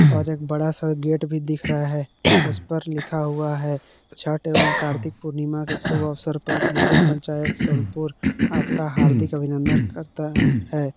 और एक बड़ा सा गेट भी दिख रहा है उस पर लिखा हुआ है छठ एवं कार्तिक पूर्णिमा के शुभ अवसर पर नगर पंचायत सोनपुर आपका हार्दिक अभिनन्दन करता है।